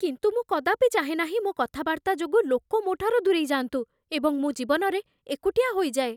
କିନ୍ତୁ ମୁଁ କଦାପି ଚାହେଁ ନାହିଁ ମୋ କଥାବାର୍ତ୍ତା ଯୋଗୁଁ ଲୋକ ମୋ' ଠାରୁ ଦୂରେଇଯାଆନ୍ତୁ, ଏବଂ ମୁଁ ଜୀବନରେ ଏକୁଟିଆ ହୋଇଯାଏ।